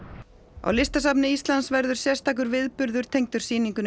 á Listasafni Íslands verður sérstakur viðburður tengdur sýningunni